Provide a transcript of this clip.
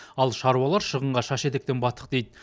ал шаруалар шығынға шаш етектен баттық дейді